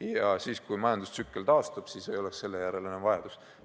Ja siis, kui majandus taastub, ei oleks selle järele enam vajadust.